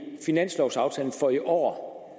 finanslovaftalen for i år